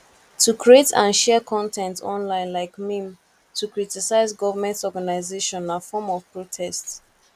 to create and share con ten t online like meme to critise government organisation na form of protest